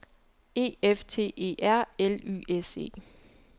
E F T E R L Y S E